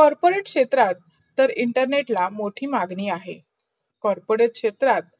corporate क्षेत्रात internet ला मोठी मागणी अहे. corporate क्षेत्रात